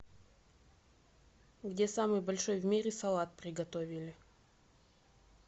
где самый большой в мире салат приготовили